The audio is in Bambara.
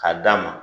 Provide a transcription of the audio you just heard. K'a d'a ma